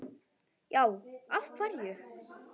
Já, af hverju?